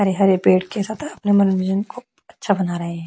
हरे - हरे पेड़ के साथ अपने मनोरंजन को अच्छा बना रहै है।